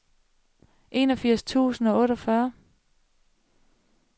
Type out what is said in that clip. enogfirs tusind og otteogfyrre